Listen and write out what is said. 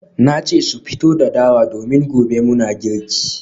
Na ce su fito da dawa domin gobe muna girki